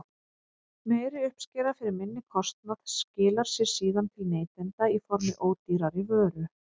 Meiri uppskera fyrir minni kostnað skilar sér síðan til neytenda í formi ódýrari vöru.